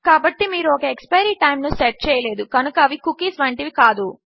కాబట్టి మీరు ఒక ఎక్స్పైరీ టైమ్ ను సెట్ చెయలేదు కనుక అవి కుకీల వంటివి కాదు